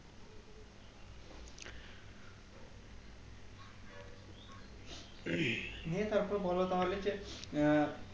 নিয়ে তারপরে বোলো তাহলে যে আহ